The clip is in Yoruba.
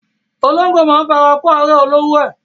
Ológbò máa ń fara kó árẹ̀ olówó ẹ.